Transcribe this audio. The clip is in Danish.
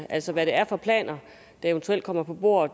altså hvad det er for planer der eventuelt kommer på bordet